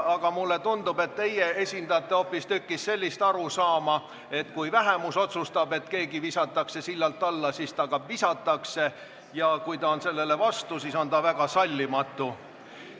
Aga mulle tundub, et teie esindate hoopistükkis sellist arusaama, et kui vähemus otsustab, et keegi visatakse sillalt alla, siis ta ka visatakse, ja kui ta on sellele vastu, siis on ta väga sallimatu.